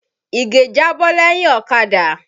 Ìgè jábọ́ lẹ́yìn ọ̀kadà.